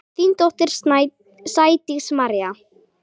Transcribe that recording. Þín dóttir, Sædís María.